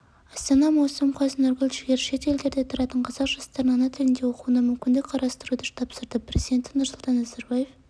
астана маусым қаз нұргүл жігер шет елдерде тұратын қазақ жастарын ана тілінде оқуына мүмкіндік қарастыруды тапсырды президенті нұрсұлтан назарбаев